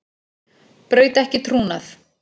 Braut ekki trúnað